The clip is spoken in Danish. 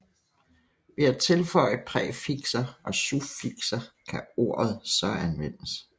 Ved at tilføje præfikser og suffikser kan ordet så anvendes